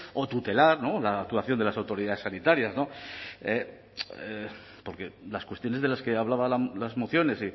o tutelar la actuación de las autoridades sanitarias porque las cuestiones de las que hablaba las mociones